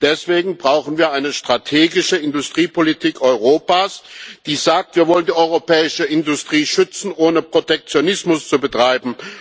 Deswegen brauchen wir eine strategische Industriepolitik Europas, die sagt Wir wollen die europäische Industrie schützen, ohne Protektionismus zu betreiben.